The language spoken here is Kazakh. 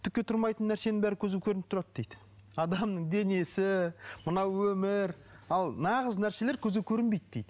түкке тұрмайтын нәрсенің бәрі көзге көрініп тұрады дейді адамның денесі мынау өмір ал нағыз нәрселер көзге көрінбейді дейді